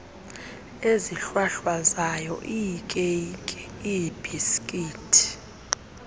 ezihlwahlwazayo iikeyiki iibhisikithi